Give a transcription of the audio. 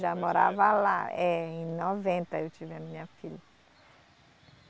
Já morava lá, é, em noventa eu tive a minha filha.